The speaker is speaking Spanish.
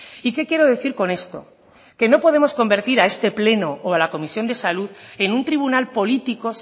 y qué quiero decir con esto que no podemos convertir a este pleno o a la comisión de salud en un tribunal político